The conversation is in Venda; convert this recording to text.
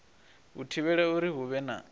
u thivhela uri hu vhe